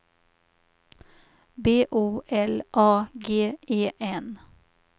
B O L A G E N